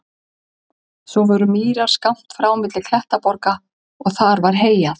Svo voru mýrar skammt frá milli klettaborga og þar var heyjað.